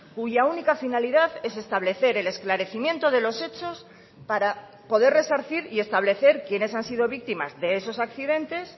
cuya única finalidad es establecer el esclarecimiento de los hechos para poder resarcir y establecer quiénes han sido víctimas de esos accidentes